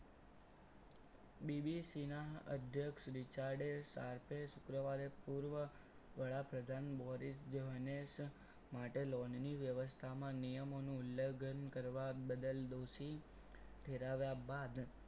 BBC ના અધ્યક્ષ Richard એ સરકે શુક્રવારે પૂર્વ વડાપ્રધાન મૌરિસ જોને માટે lone ની વ્યવસ્થામાં નિયમોનું ઉલ્લંઘન કરવા બદલ દોશી ઠહેરાવ્યા બાદ